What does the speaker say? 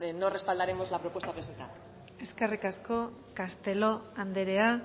no respaldaremos la propuesta presentada eskerrik asko castelo anderea